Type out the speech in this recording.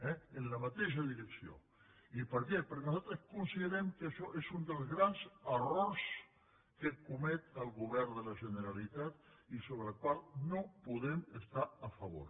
i per què perquè nosaltres considerem que això és un dels grans errors que comet el govern de la generalitat i sobre el qual no podem estar a favor